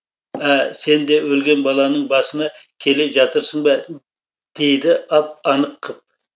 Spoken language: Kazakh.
ә сен де өлген балаңның басына келе жатырсың ба дейді ап анық қып